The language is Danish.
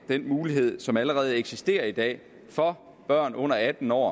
den mulighed som allerede eksisterer i dag for børn under atten år